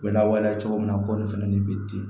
U bɛ lawaleya cogo min na ko nin fɛnɛ nin bɛ ten